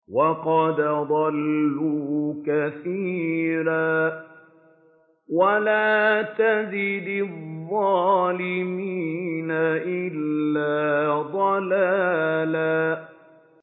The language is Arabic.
وَقَدْ أَضَلُّوا كَثِيرًا ۖ وَلَا تَزِدِ الظَّالِمِينَ إِلَّا ضَلَالًا